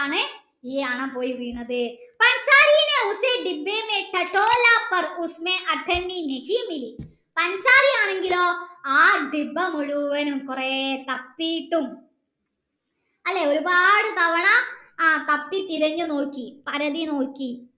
ആണെങ്കിലോ ആ ഡബ്ബ മുഴുവനും കൊറേ തപ്പീട്ടും അല്ലെ ഒരുപാട് തവണ ആ തപ്പി തിരഞ്ഞു് നോക്കി പരാതി നോക്കി